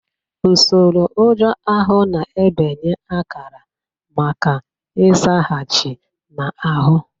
Usoro ụjọ ahụ na-ebunye akara maka nzaghachi na ahụ.